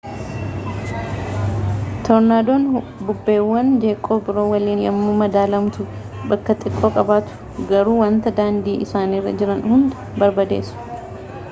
toornaadoon bubbeewwan jeeqoo biroo waliin yommuu madaalamtu bakka xiqqoo qabatu garuu wanta daandii isaanirra jiran hunda barbadeesu